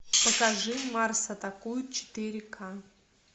покажи марс атакует четыре ка